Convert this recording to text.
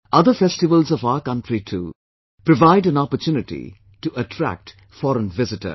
Other festivals of our country too, provide an opportunity to attract foreign visitors